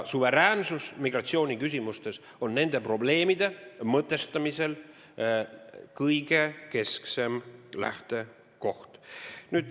Suveräänsus migratsiooniküsimustes on nende probleemide mõtestamisel keskne lähtekoht.